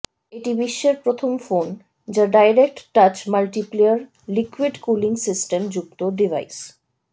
এটি বিশ্বের প্রথম ফোন যা direct touch multiplayer liquid cooling system যুক্ত ডিভাইস